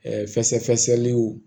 fɛsɛfɛsɛliw